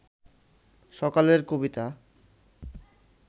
সকালের কবিতা